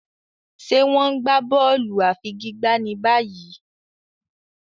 Ṣe wón n gbà bóòlù afigigba ní báyìí?